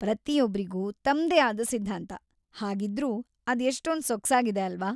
ಪ್ರತಿಯೊಬ್ರಿಗೂ ತಮ್ದೇ ಆದ ಸಿದ್ದಾಂತ, ಹಾಗಿದ್ರೀ ಅದ್‌ ಎಷ್ಟೊಂದ್‌ ಸೊಗಸಾಗಿದೆ ಅಲ್ವ?